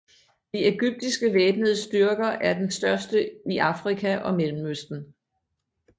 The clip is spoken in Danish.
De egyptiske væbnede styrker er den største i Afrika og Mellemøsten